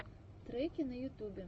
треки на ютубе